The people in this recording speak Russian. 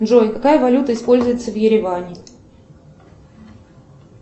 джой какая валюта используется в ереване